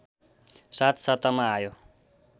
साथ सत्तामा आयो